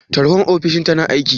Tarhon ofishin tana aiki?